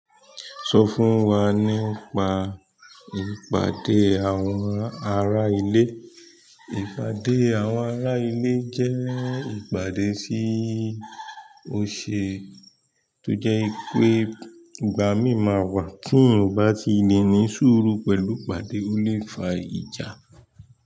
Sọ fún wa nípa ìpàdé àwọn ará ilé. Ìpàdé àwọn ará ilé jẹ́ ìpàdé tí ó ṣe tó jẹ́ wipé ìgbà mí máa wà tí èyàn bá ti lè ní súrù pẹ̀lú ìpàdé, ó lè fa ìjà.